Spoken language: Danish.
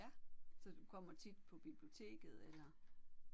Ja så du kommer tit på biblioteket eller?